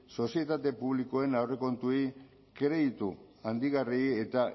sozietate publikoen aurrekontuei kreditu handigarriei eta